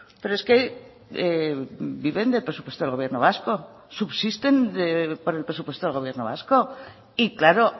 pero es que viven del presupuesto del gobierno vasco subsisten por el presupuesto del gobierno vasco y claro